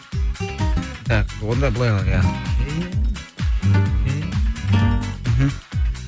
так онда былай қылайық иә мхм